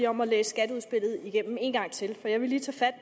om at læse skatteudspillet igennem en gang til for jeg vil lige tage fat